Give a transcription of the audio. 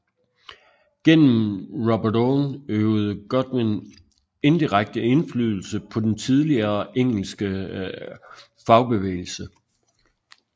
Gennem Robert Owen øvede Godwin indirekte indflydelse på den tidlige engelske fagbevægelse